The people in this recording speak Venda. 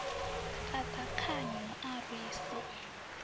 ṱaṱa khani hu a rwisa